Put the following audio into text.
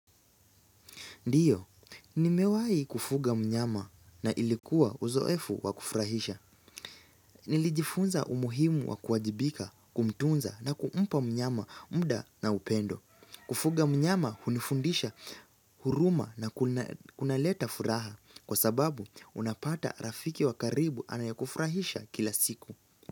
Ndiyo, ni mewai kufuga mnyama na ilikuwa uzoefu wa kufurahisha. Nilijifunza umuhimu wa kuwajibika, kumtunza na kuumpa mnyama muda na upendo. Kufuga mnyama unifundisha huruma na kunaleta furaha kwa sababu unapata rafiki wa karibu anayekufurahisha kila siku.